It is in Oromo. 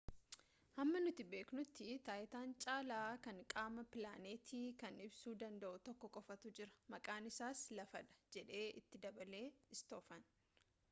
hamma nuti beeknuti taayitaan caalaa kan qaama pilaanetii kana ibsuu danda'u tokko qofatu jira maqaan isaas lafa dha jedhe itti dabale istoofan